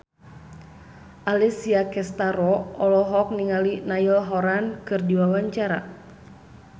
Alessia Cestaro olohok ningali Niall Horran keur diwawancara